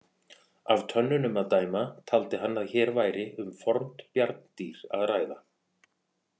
Af tönnunum að dæma taldi hann að hér væri um fornt bjarndýr að ræða.